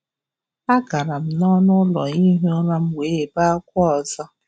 Agara m nọnụ ụlọ ihi ụra m wee bee akwa ọzọ